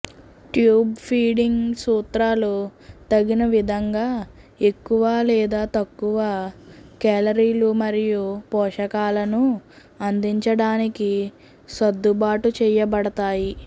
tube feeding సూత్రాలు తగిన విధంగా ఎక్కువ లేదా తక్కువ కేలరీలు మరియు పోషకాలను అందించడానికి సర్దుబాటు చేయబడతాయి